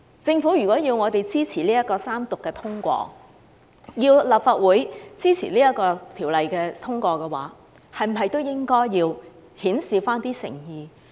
政府如果要立法會支持三讀並通過這項《條例草案》，是否也應該顯示一點誠意？